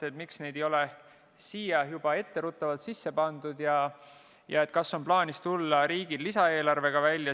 Päriti, miks neid ei ole juba sellesse eelnõusse pandud ja kas on plaanis tulla lisaeelarvega välja.